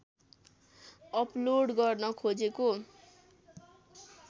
upload गर्न खोजेको